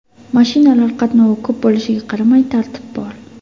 Mashinalar qatnovi ko‘p bo‘lishiga qaramay, tartib bor.